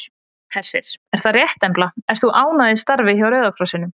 Hersir: Er það rétt Embla ert þú ánægð í starfi hjá Rauða krossinum?